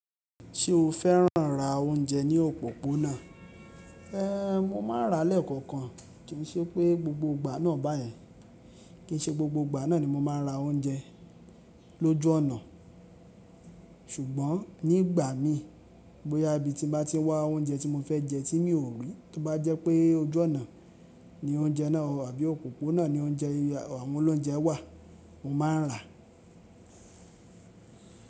Ṣé o fẹ́ràn ra oúnjẹ ní òpópónà? Mo máa ń rà lẹ́ẹ̀kọ̀kan, kì í ṣe pé gbogbo ìgbà náà báyẹn. Kì í ṣe gbogbo ìgbà náà ni mo máa ń ra oúnjẹ lójú ọ̀nà. Ṣùgbọ́n nígbà mí bó yá bí tí n bá ti n wá oúnjẹ tí mo fẹ́ jẹ tí mi ò rí, tó bá jẹ́ pé ojú ọ̀nà ní oúnjẹ náà, àbí òpópónà ní oúnjẹ àwọn olóúnjẹ wà mo máa ń rà.